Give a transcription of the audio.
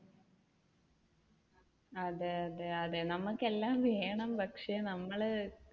അതെ അതെ അതെ നമുക്ക് എല്ലാം വേണം പക്ഷെ നമ്മൾ